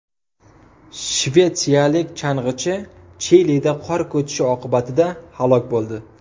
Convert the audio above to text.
Shvetsiyalik chang‘ichi Chilida qor ko‘chishi oqibatida halok bo‘ldi.